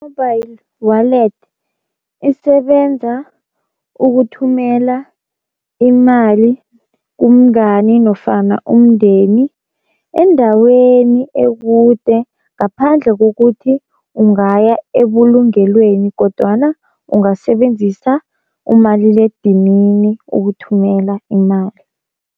Mobile wallet isebenza ukuthumela imali kumngani nofana umndeni endaweni ekude ngaphandle kokuthi ungaya ebulungelweni, kodwana ungasebenzisa umaliledinini ukuthumela imali.